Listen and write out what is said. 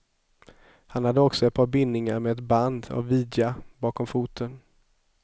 Han hade också ett par bindningar med ett band av vidja bak om foten.